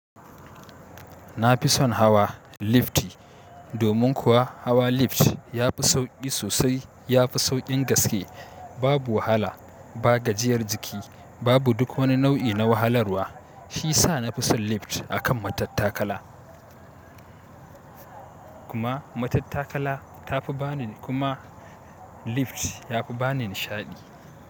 Na fi son hawa lifti domin kuwa hawa lift ya fi sauƙi sosai. Yafi sauƙin gaske. Babu wahala, ba gajiyar jiki, babu duk wani nau'i na wahalarwa. Shi sa na fi son lift a kan matattakala. Kuma matattakala ta fi ba ni, kuma lift ya fi ba ni nishaɗi.